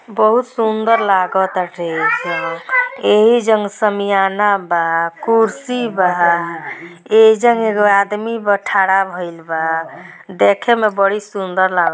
बहुत सुंदर लागता यही जन्म समियाना बा कुर्सी बा एह जा एक गो आदमी थर्ड भइले बा देख में बड़ी सुंदर लागल--